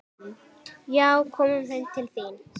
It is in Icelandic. Já, komum heim til þín.